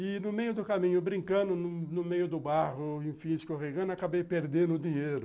E, no meio do caminho, brincando, no meio do barro, enfim, escorregando, acabei perdendo o dinheiro.